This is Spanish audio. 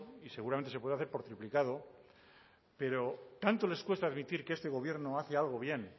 y seguramente se puede hacer por duplicado pero tanto les cuesta admitir que este gobierno hace algo bien